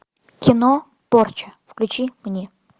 кино порча включи мне